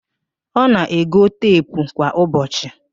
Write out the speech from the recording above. Ọ na-ego teepụ kwa ụbọchị